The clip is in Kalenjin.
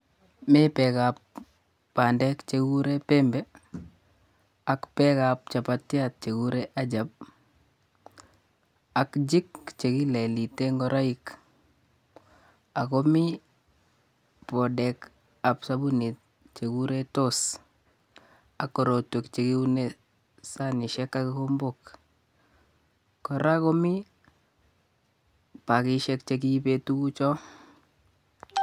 Mi beek ab bandek chekiguree Pembe, ak beek ab chapatiat chegikure Ajab ak Jik chekilelitee ngoroik. Ako mi podeek ab sabunit chegikureToss ak korotwek chekiunee sanisiek ak kikombook. Kora komii pakishek chekiibee tugucho